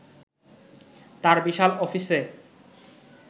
তাঁর বিশাল অফিসে